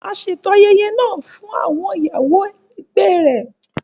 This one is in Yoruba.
a ṣeto ayẹyẹ náà fún awọn ìyàwó ẹlẹgbẹ rẹ